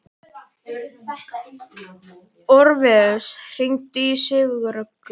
Orfeus, hringdu í Sigurrögnu.